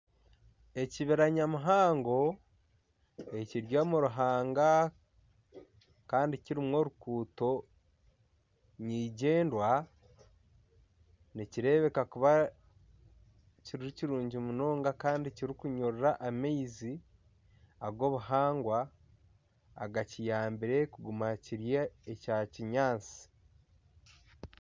Ekibira nya muhango ekiri omu ruhanga kandi kirimu orukuuto nigyendwa nikireebeka kuba kiri kirungi munonga kandi kiri kunyurura amaizi ag'obuhangwa agakiyambire kuguma kiri ekya kinyaatsi.